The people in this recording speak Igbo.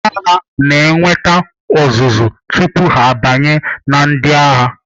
Ndị agha na-enweta ọzụzụ tupu ha abanye na ndị agha.